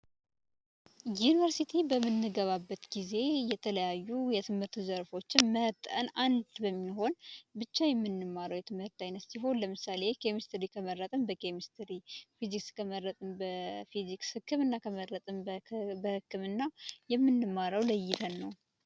ዩኒቨርስቲ በምንገባበት ጊዜ የተለያዩ የትምህርት መስኮችን መርጠን ብቻ የምንማረው የትምህርት አይነት ሲሆን ለምሳሌ ኬሚስትሪ ከመረጥን በኬሚስትሪ ፊዚክስ ከመረጥን በፊዚክስ ህክምና ከመረጥን በህክምና የምንማረው ለይተን ነው።